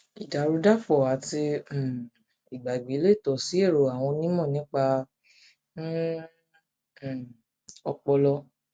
ìdàrúdàpọ àti um ìgbàgbé lè tọ sí èrò àwọn onímọ nípa um um ọpọlọ